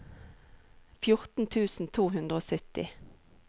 fjorten tusen to hundre og sytti